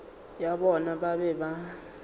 ya bona ba be ba